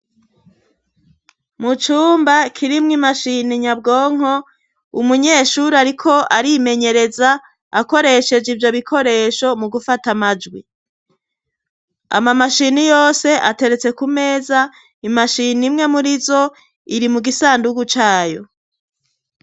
Mu cumba kirimwo imashini nyabwonko umunyeshuri, ariko arimenyereza akoresheje ivyo bikoresho mu gufata amajwi ama mashini yose ateretse ku meza imashini imwe muri zo iri mu gisandugu cayo.